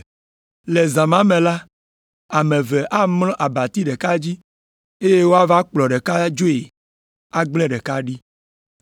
Le zã ma me la, ame eve amlɔ abati ɖeka dzi, eye woava kplɔ ɖeka dzoe agblẽ ɖeka ɖi.